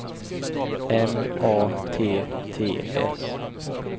M A T T S